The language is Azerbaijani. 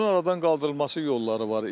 Bunun aradan qaldırılması yolları var.